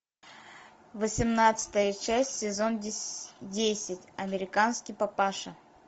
восемнадцатая часть сезон десять американский папаша